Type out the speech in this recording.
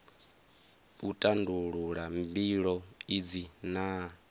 u tandulula mbilo idzi na